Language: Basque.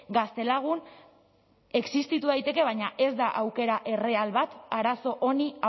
gaztelagun existitu daiteke baina ez da aukera erreal bat arazo honi